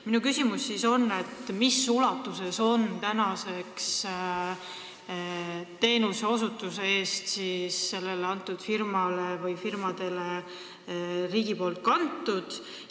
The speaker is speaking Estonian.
Minu küsimus on: kui suure osa sellest summast on riik teenuse osutamise eest sellele firmale või nendele firmadele üle kandnud?